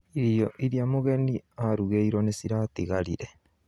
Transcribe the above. Irio iria mũgeni arugĩirwo nĩ ciratigarire